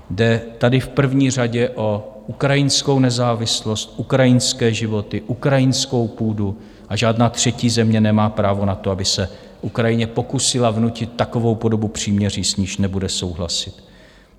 Jde tady v první řadě o ukrajinskou nezávislost, ukrajinské životy, ukrajinskou půdu a žádná třetí země nemá právo na to, aby se Ukrajině pokusila vnutit takovou podobu příměří, s níž nebude souhlasit.